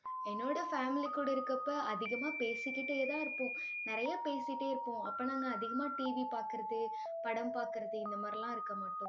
என்னோட family கூட இருக்கப்ப அதிகமா பேசிக்கிட்டேதான் இருப்போம். நிறைய பேசிட்டே இருப்போம். அப்ப நாங்க அதிகமா TV பார்க்கிறது, படம் பார்க்கிறது, இந்த மாதிரி எல்லாம் இருக்க மாட்டோம்